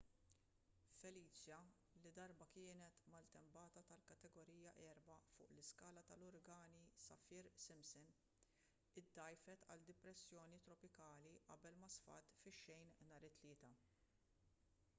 felicia li darba kienet maltempata tal-kategorija 4 fuq l-iskala tal-uragani saffir-simpson iddgħajfet għal depressjoni tropikali qabel ma sfat fix-xejn nhar it-tlieta